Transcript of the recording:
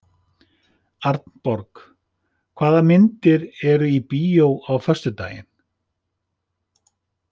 Arnborg, hvaða myndir eru í bíó á föstudaginn?